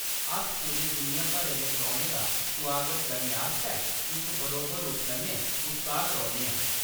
अस पूरी दुनिया भरै दे परौह्‌नें दा सुआगत करने आस्तै इक बरोबर रूप कन्नै उत्साह्त रौह्‌न्ने आं।